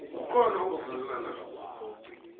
kukhona ongavumelani nakho